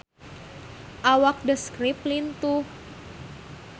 Awak The Script lintuh